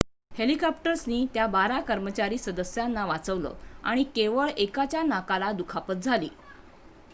हेलिकॉप्टर्सनी त्या बारा कर्मचारी सदस्यांना वाचवलं आणि केवळ एकाच्या नाकाला दुखापत झाली